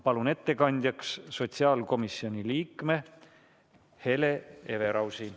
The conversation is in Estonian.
Palun ettekandjaks sotsiaalkomisjoni liikme Hele Everausi!